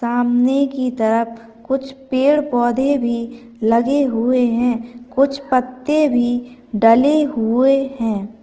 सामने की तरफ कुछ पेड़ पौधे भी लगे हुए है कुछ पत्ते भी डले हुए है।